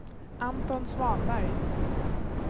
Anton Svanberg